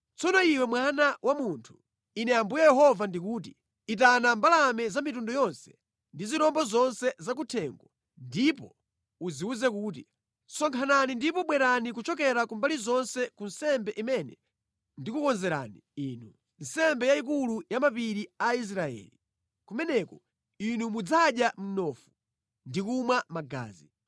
“Tsono iwe mwana wa munthu, Ine Ambuye Yehova ndikuti: Itana mbalame za mitundu yonse ndi zirombo zonse zakuthengo ndipo uziwuze kuti, ‘Sonkhanani ndipo bwerani kuchokera ku mbali zonse ku nsembe imene ndikukonzerani inu, nsembe yayikulu pa mapiri a Israeli. Kumeneko inu mudzadya mnofu ndi kumwa magazi.